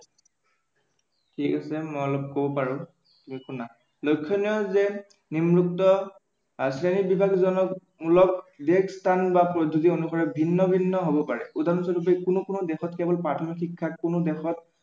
ঠিক আছে, মই অলপ কব পাৰো। শুনা, লক্ষণীয় যে নিম্নোক্ত শ্ৰেণীবিভাজনমূলক দেশ, স্থান বা পদ্ধতি অনুসৰি ভিন্ন ভিন্ন হব পাৰে, উদাহৰণস্বৰূপে কোনো কোনো দেশত কেৱল প্ৰাথমিক শিক্ষা, কোনো দেশত